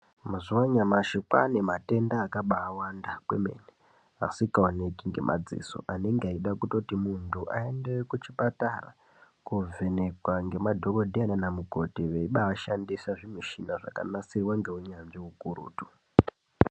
Mazwano mashika ane matenga akabawanda kwemene asikaonekwi ngemaziso anenga aida muntu aende kuchipatara kovhenekewa nemadhokotera kana mugodhi webahashandisa zvimechina zvakanyasewo ndounyanzvi hukurutu